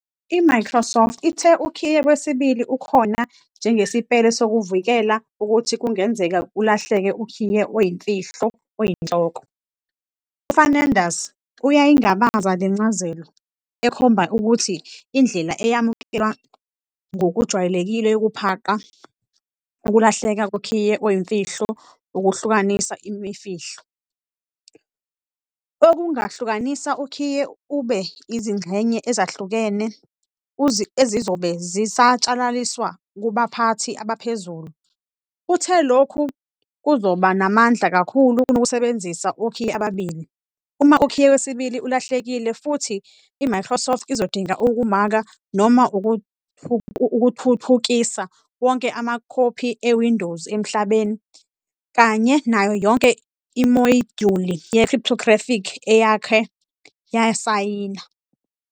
IMicrosoft ithe ukhiye wesibili ukhona njengesipele sokuvikela ukuthi kungenzeka ulahlekelwe ukhiye oyimfihlo oyinhloko. UFernandes uyayingabaza le ncazelo, ekhomba ukuthi indlela eyamukelwa ngokujwayelekile yokuqapha ukulahleka kokhiye oyimfihlo ukuhlukanisa imfihlo, okungahlukanisa ukhiye ube izingxenye ezahlukahlukene, ezizobe zisatshalaliswa kubaphathi abaphezulu. Uthe lokhu kuzoba namandla kakhulu kunokusebenzisa okhiye ababili, uma ukhiye wesibili ulahlekile futhi, iMicrosoft izodinga ukumaka noma ukuthuthukisa wonke amakhophi eWindows emhlabeni, kanye nayo yonke imodyuli ye-cryptographic eyake yasayina.